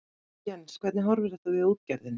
Jens hvernig horfir þetta við útgerðinni?